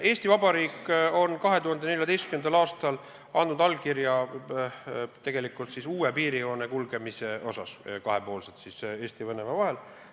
Eesti Vabariik on 2014. aastal andnud allkirja uue piirijoone kulgemise kohta, see lepiti kokku kahepoolselt Eesti ja Venemaa vahel.